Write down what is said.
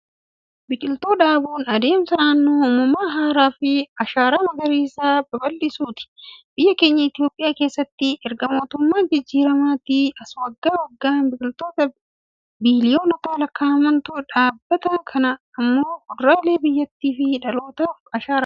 Biqiltuu dhaabuun, adeemsa naannoo uumama haaraa fi ashaaraa magariisaa babaldhisuuti. Biyya keenya Itoophiyaa keessatti erga mootummaa jijjiiramaatii as waggaa waggaan biqiltoota biliyoonotatti lakkaa'amantu dhaabbata. Kun immoo fuulduree biyyattii fi dhalootaaf ashaaraadha.